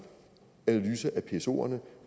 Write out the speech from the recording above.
analyse af psoerne